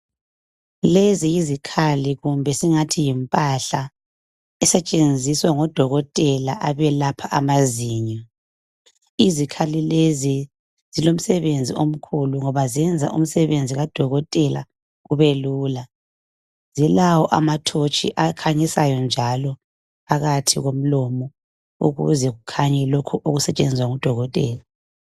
lezi yizikhali kumbe singathi yimpahla esetshenziswa ngo dokotela abelapha amazinyo izikhali lezi zilomsebenzi omkhulu ngoba zenza umsebenzi ka dokotela ube lula zilawo ama torch akhanyisayo njalo phakathi komlomo ukuze kukhanye lokhu okusetshenzwa ngu dokotela